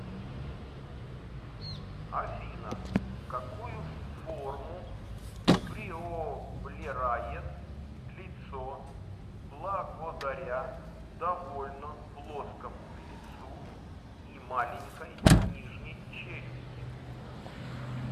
афина какую форму приоблерает лицо благодаря довольно плоскому лицу и маленькой нижней челюсти